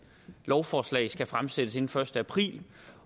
lovforslag skal fremsættes inden den første april